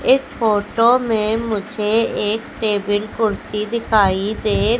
इस फोटो में मुझे एक टेबल कुर्सी दिखाई दे--